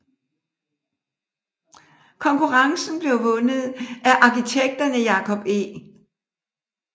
Konkurrencen blev vundet af arkitekterne Jacob E